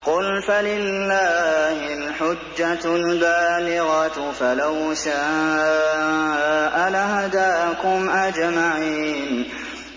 قُلْ فَلِلَّهِ الْحُجَّةُ الْبَالِغَةُ ۖ فَلَوْ شَاءَ لَهَدَاكُمْ أَجْمَعِينَ